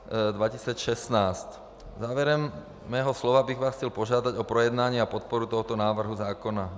Závěrem svého slova bych vás chtěl požádat o projednání a podporu tohoto návrhu zákona.